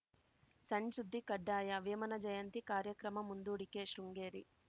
ಸಣ್‌ ಸುದ್ದಿ ಕಡ್ಡಾಯ ವೇಮನ ಜಯಂತಿ ಕಾರ್ಯಕ್ರಮ ಮುಂದೂಡಿಕೆ ಶೃಂಗೇರಿ